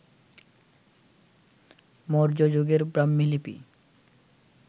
মৌর্য যুগের ব্রাক্ষ্ণী লিপি